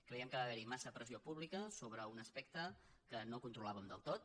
cre·iem que va haver·hi massa pressió pública sobre un as·pecte que no controlàvem del tot